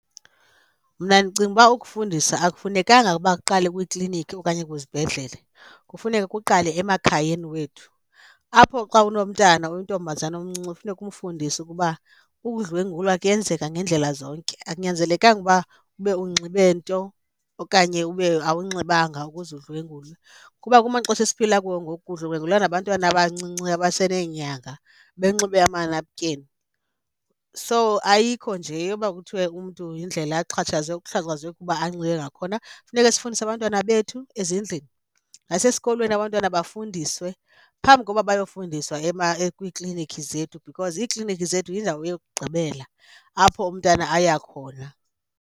Mna ndicinga uba ukufundisa akufunekanga uba kuqale kwiikliiniki okanye kwizibhedlele, kufuneka kuqala emakhayeni wethu. Apho xa unomntana oyintombazana omncinci funeka umfundise ukuba ukudlwengulwa kuyenzeka ngendlela zonke, akunyanzelekanga uba ube unxibe nto okanye ube awunxibanga ukuze udlwengulwe. Kuba kumaxesha esiphila kuwo ngoku kudlwengulwa nabantwana abancinci abaseneenyanga benxibe amanapukeni. So, ayikho nje yoba kuthiwe umntu yindlela axhatshazwe, uxhatshazwe kuba anxibe ngakhona funeka sifundise abantwana bethu ezindlini. Nasesikolweni abantwana bafundiswe phambi koba bayofundiswa kwiiklinikhi zethu because iiklinikhi zethu yindawo yokugqibela apho umntana aya khona.